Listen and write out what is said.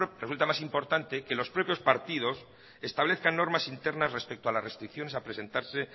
resulta más importante que los propios partidos establezcan normas internas respecto a las restricciones a presentarse